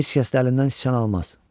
Heç kəs də əlimdən siçan almaz.